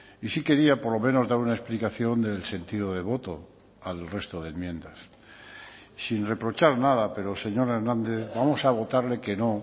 y sí quería por lo menos dar una explicación del sentido de voto al resto de enmiendas sin reprochar nada pero señor hernández vamos a votarle que no